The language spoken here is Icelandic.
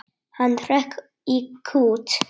Hann hrökk í kút.